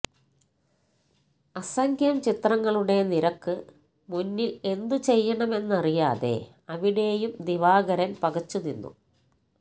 അസംഖ്യം ചിത്രങ്ങളുടെ നിരക്കു മുന്നില് എന്തു ചെയ്യണമെന്നറിയാതെ അവിടേയും ദിവാകരന് പകച്ചു നിന്നു